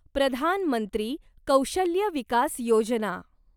Pradhan Mantri Kaushalya Vikas Yojana